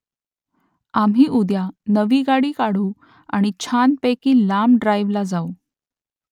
आम्ही उद्या नवी गाडी काढू आणि छानपैकी लांब ड्राईव्हला जाऊ